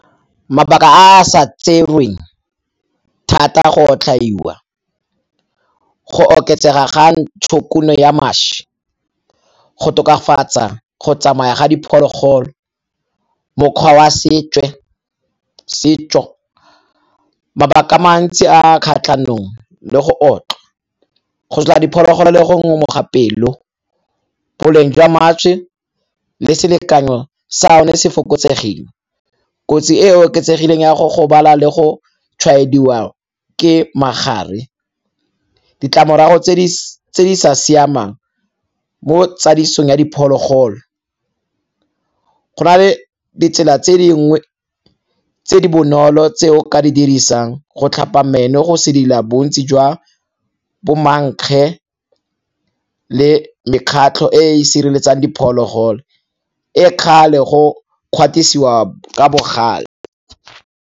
Mabaka a sa tserweng thata go otlhaiwa, go oketsega ga ntshokuno ya mašwi, go tokafatsa go tsamaya ga diphologolo, mokgwa wa setso. Mabaka a mantsi a a kgatlhanong le go otlwa, go sotla diphologolo le go ngomoga pelo, boleng jwa mašwi le selekanyo sa yone se fokotsegile. Kotsi e e oketsegileng ya go gobala le go tshwaediwa ke magare, ditlamorago tse di sa siamang mo tsamaisong ya diphologolo, go na le ditsela tse dingwe tse di bonolo tse o ka di dirisang go tlhapa meno go sedila bontsi jwa bo mankge le mekgatlho e e sireletsang diphologolo, e kgale go kgatisiwa ka bogale.